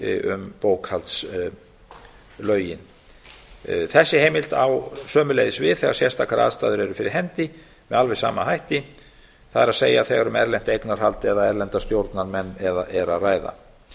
um bókhaldslögin þessi heimild á sömuleiðis við þegar sérstakar aðstæður eru fyrir hendi með alveg sama hætti það er þegar um erlent eignarhald eða erlenda stjórnarmenn er að ræða